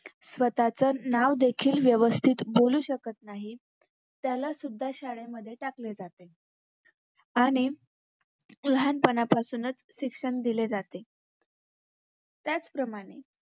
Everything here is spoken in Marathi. स्वतःच नावदेखील व्यवस्थित बोलू शकत नाहीत त्यालासुद्धा शाळेमध्ये टाकेल जाते आणि लहानपणापासूनच शिक्षण दिले जाते त्याचप्रमाणे